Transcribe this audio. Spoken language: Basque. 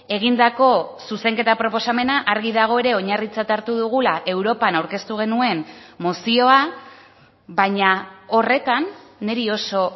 egindako zuzenketa proposamena argi dago ere oinarritzat hartu dugula europan aurkeztu genuen mozioa baina horretan niri oso